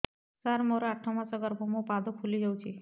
ସାର ମୋର ଆଠ ମାସ ଗର୍ଭ ମୋ ପାଦ ଫୁଲିଯାଉଛି